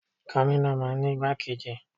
Gómìnà máa ń ní igbákejì.